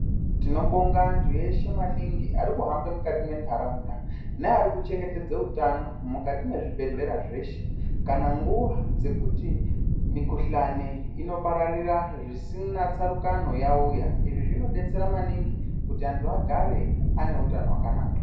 Tinobonga antubeshe maningi ati kuhambe mukati mwentaraunda neari kuchengetedze utano mukati mwezvibhedhlerabzveshe kana nguwa dzekuti mukhuhlani inopararira zvisina tsarukano izvi zvinodetsera maningi kuti antu agare ane utano hwakanaka.